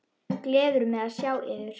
Gleður mig að sjá yður.